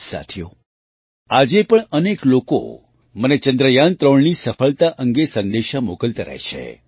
સાથીઓ આજે પણ અનેક લોકો મને ચંદ્રયાન૩ની સફળતા અંગે સંદેશા મોકલતા રહે છે